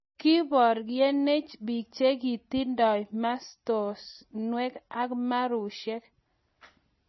Kokiboryenech biik chekotindai mastunweek ak maruushek